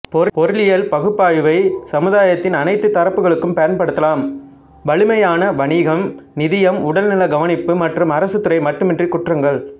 பொருளியல் பகுப்பாய்வை சமுதாயத்தின் அனைத்துத் தரப்புகளுக்கும் பயன்படுத்தலாம் வழமையான வணிகம் நிதியம் உடல்நல கவனிப்பு மற்றும் அரசுத்துறை மட்டுமன்றி குற்றங்கள்